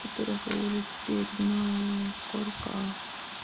которого уже теперь знаю насколько